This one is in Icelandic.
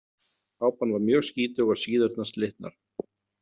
Kápan var mjög skítug og síðurnar slitnar.